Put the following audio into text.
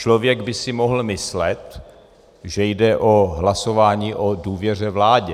Člověk by si mohl myslet, že jde o hlasování o důvěře vládě.